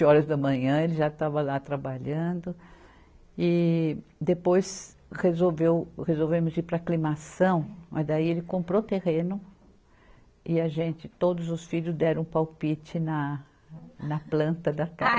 horas da manhã, ele já estava lá trabalhando e depois resolveu, resolvemos ir para Aclimação, não é, daí ele comprou terreno e a gente, todos os filhos deram palpite na, na planta da casa.